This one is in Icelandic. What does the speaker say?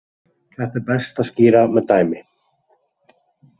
Þetta er best að skýra með dæmi.